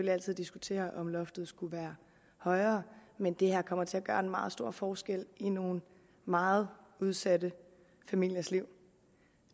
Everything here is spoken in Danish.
altid diskutere om loftet skulle være højere men det her kommer til at gøre en meget stor forskel i nogle meget udsatte familiers liv